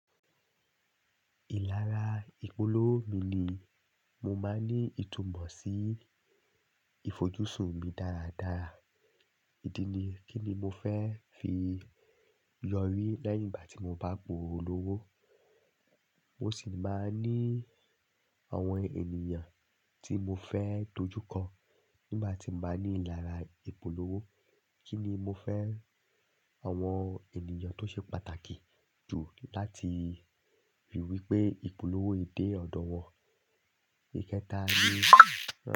Ìlara ìpolówó mi ni mo máa ní ìtumọ̀ sí ìfojúsùn mi dáradára. Ídí ni kí ni mo fẹ́ fi yọrí lẹ́yìn gbá ti mo bá polówó. Mo sì máa ní àwọn ènìyàn tí mo fẹ́ dojú kọ ní gbá ti máa ní ìlara ìpolówó. Kí ni mo fẹ́ àwọn ènìyàn tó ṣe pàtàkì jù láti fi wípé ìpolówó yi dè ọ̀dọ̀ wọn. Ìkẹta ni.